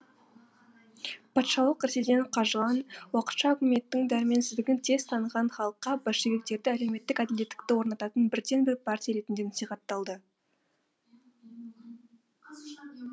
патшалық ресейден қажыған уақытша үкіметтің дәрменсіздігін тез таныған халыққа большевиктерді әлеуметтік әділеттікті орнататын бірден бір партия ретінде насихатталды